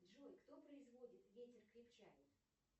джой кто производит ветер крепчает